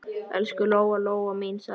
Elsku Lóa-Lóa mín, sagði mamma.